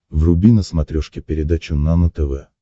вруби на смотрешке передачу нано тв